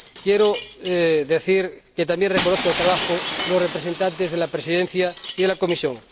Quiero decir que también reconozco el trabajo de los representantes de la Presidencia y de la Comisión.